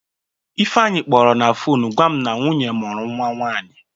Ifeanyị kpọrọ na fonu gwa m na nwunye mụrụ nwa nwaanyị.